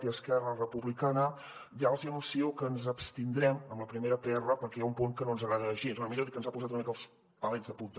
i esquerra republicana ja els hi anuncio que ens abstindrem en la primera pr perquè hi ha un punt que no ens agrada gens o millor dit que ens ha posat una mica els pelets de punta